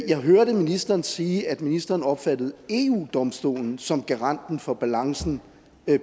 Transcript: jeg hørte ministeren sige at ministeren opfattede eu domstolen som garanten for balancen